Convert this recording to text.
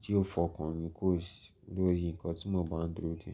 tí yóò fọkàn ní kò sì lórí ńkan tí mo máa ń dúró dè.